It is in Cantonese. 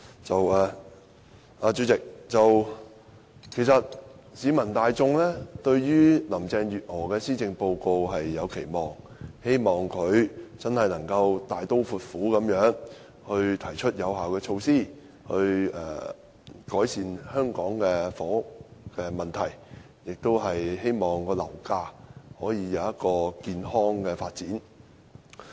代理主席，市民大眾對於林鄭月娥的施政報告有期望，希望她能大刀闊斧地提出有效措施，改善香港的房屋問題，讓樓價能健康發展。